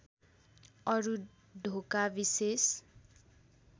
अरू ढोका विशेष